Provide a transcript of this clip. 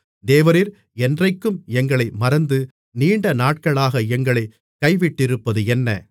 தேவரீர் என்றைக்கும் எங்களை மறந்து நீண்ட நாட்களாக எங்களைக் கைவிட்டிருப்பது என்ன